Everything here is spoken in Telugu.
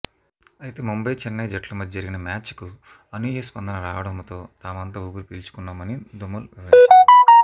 అయితే ముంబైచెన్నై జట్ల మధ్య జరిగిన మ్యాచ్కు అనూహ్య స్పందన రావడంతో తామంతా ఊపిరి పీల్చుకున్నామని ధుమల్ వివరించారు